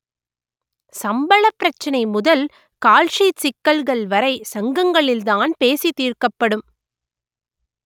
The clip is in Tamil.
சம்பளப் பிரச்சனை முதல் கால்ஷீட் சிக்கல்கள்வரை சங்கங்களில்தான் பேசி தீர்க்கப்படும்